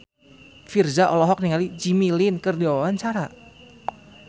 Virzha olohok ningali Jimmy Lin keur diwawancara